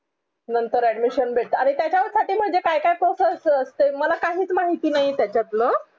नंतर admission भेटत अरे त्याच्यासाठी म्हणजे काय काय असत मला काहीच माहिती नाही त्याच्यातलं